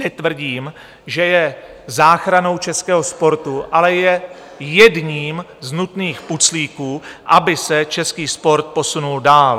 Netvrdím, že je záchranou českého sportu, ale je jedním z nutných puclíků, aby se český sport posunul dál.